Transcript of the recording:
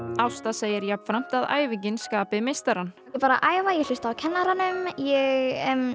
Ásta segir jafnframt að æfingin skapi meistarann ég bara æfi og hlusta á kennarann ég